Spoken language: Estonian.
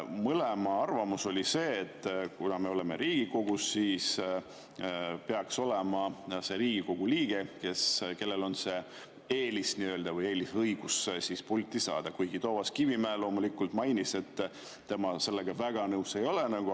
Mõlema arvamus oli see, et kuna me oleme Riigikogus, siis peaks olema see Riigikogu liige, kellel on eelisõigus pulti saada, kuigi Toomas Kivimägi loomulikult mainis, et tema sellega väga nõus ei ole.